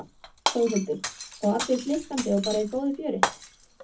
Þórhildur: Og allir blikkandi og bara í góðu fjöri?